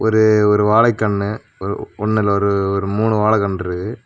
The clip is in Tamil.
ஒரு ஒரு வாழைக்கண்ணு ஒ ஒண்ணுல ஒரு ஒரு மூணு வாழ கண்ருக்கு.